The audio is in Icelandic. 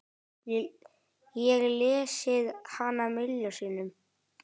Ég lesið hana milljón sinnum.